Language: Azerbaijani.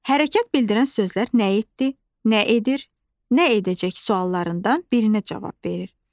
Hərəkət bildirən sözlər nə etdi, nə edir, nə edəcək suallarından birinə cavab verir.